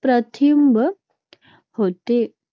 प्रतिबंध होतो.